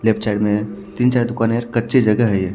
लेपचर में तिन चार दुकाने कच्ची जगह है ये --